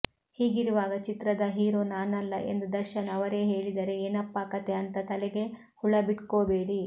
ಹೀಗಿರುವಾಗ ಚಿತ್ರದ ಹೀರೋ ನಾನಲ್ಲ ಎಂದು ದರ್ಶನ್ ಅವರೇ ಹೇಳಿದರೆ ಏನಪ್ಪಾ ಕಥೆ ಅಂತಾ ತಲೆಗೆ ಹುಳ ಬಿಟ್ಕೋಬೇಡಿ